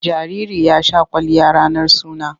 Jariri ya sha kwalliya ranar suna.